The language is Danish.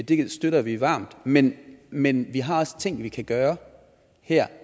det støtter vi varmt men men vi har også ting vi kan gøre her